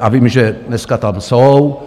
a vím, že dneska tam jsou.